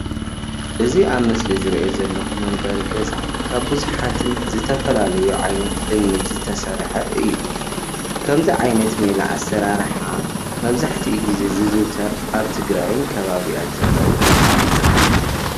እዚ ኣብ ምስሊ ዝሪኦ ዘለኩ መንበሪ ገዛ ካብ ቡዙሓትን ዝተፈላለዩ ዓይነት እምኒን ዝተሰርሐ እዩ፡፡ ከምዚ ዓይነት ሜላ ኣሰረርሓ መብዛሕትኡ ግዜ ዝዝውተር ኣብ ትግራይን ከባቢኣን ዘለዉ ቦታ እዩ፡፡